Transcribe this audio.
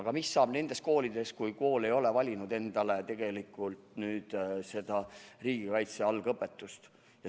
Aga mis saab nendest koolidest, kus kool ei ole valinud endale riigikaitse algõpetust?